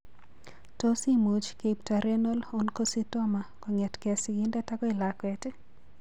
Tos imuch keipto Renal Oncocytoma kong'etke sigindet akoi lakwet?